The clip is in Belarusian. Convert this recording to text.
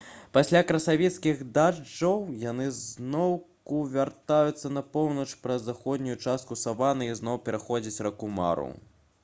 пасля красавіцкіх дажджоў яны зноўку вяртаюцца на поўнач праз заходнюю частку саваны і зноў пераходзяць раку мару